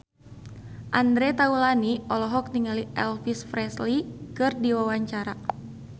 Andre Taulany olohok ningali Elvis Presley keur diwawancara